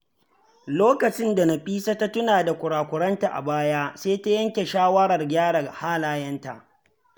Lokacin da Nafisa ta tuna da kurakuranta a baya, sai ta yanke shawarar gyara halayenta.